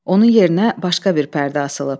Onun yerinə başqa bir pərdə asılıb.